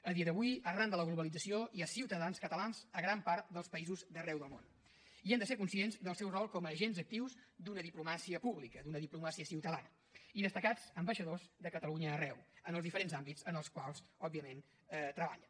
a dia d’avui arran de la globalització hi ha ciutadans catalans a gran part dels països d’arreu del món i hem de ser conscients del seu rol com a agents actius d’una diplomàcia pública d’una diplomàcia ciutadana i destacats ambaixadors de catalunya arreu en els diferents àmbits en els quals òbviament treballen